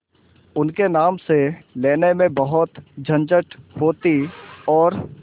उनके नाम से लेने में बहुत झंझट होती और